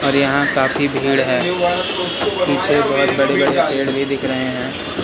और यहां काफी भीड़ है पीछे बहुत बड़े बड़े पेड़ दिख रहे हैं।